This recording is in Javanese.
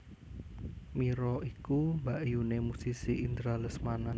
Mira iku mbakyuné musisi Indra Lesmana